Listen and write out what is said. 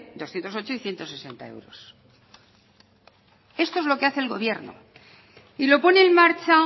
doscientos ocho y ciento sesenta euros esto es lo que hace el gobierno y lo pone en marcha